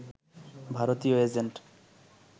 ভারতীয় এজেন্ট